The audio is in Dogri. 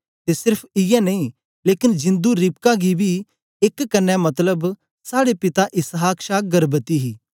ते सेर्फ इयै नेई लेकन जिंदु रिबका बी एक कन्ने मतलब साड़े पिता इसहाक छा गर्भवती ही